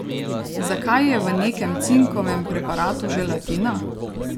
Zakaj je v nekem cinkovem preparatu želatina?